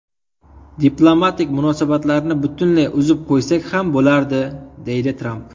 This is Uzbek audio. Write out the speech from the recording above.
Diplomatik munosabatlarni butunlay uzib qo‘ysak ham bo‘lardi”, deydi Tramp.